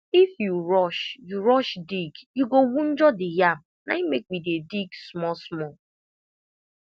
if you rush you rush dig you go woundjure the yam naim make we dey dig small small